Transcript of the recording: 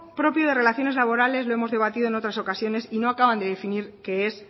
propio de relaciones laborales lo hemos debatido en otras ocasiones qué es